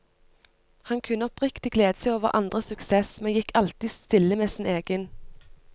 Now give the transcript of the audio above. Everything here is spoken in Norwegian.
Han kunne oppriktig glede seg over andres suksess, men gikk alltid stille med sin egen.